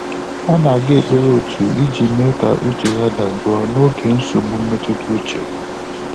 Ọ́ nà-àgá ékpèré òtù ìjí mèé kà úchè yá dàjụ́ọ́ n’ógè nsógbú mmétụ́tà úchè.